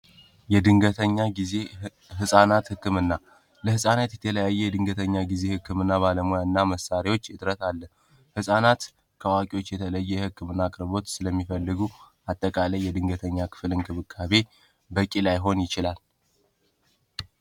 የድንገተኛ ጊዜሕፃናት ሕክምና ለሕፃነት የተለያየ የድንገተኛ ጊዜ ሕክም ና ባለሙያ እና መሳሪዎች እጥረት አለ ሕፃናት ከዋቂዎች የተለየ ሕክም እና ቅርቦት ስለሚፈልጉ አጠቃለይ የድንገተኛ ክፍል እንክብካቤ በቂ ላይሆን ይችላል።